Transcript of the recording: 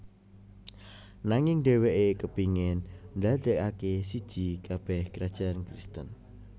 Nanging dheweke kepingin ndadekake siji kabeh krajan Kristen